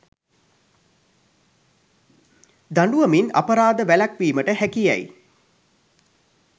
දඬුවමින් අපරාධ වැළැක්වීමට හැකි යැයි